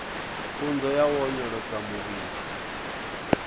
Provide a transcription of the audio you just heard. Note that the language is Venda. pfunzo ya u onyolosa muvhili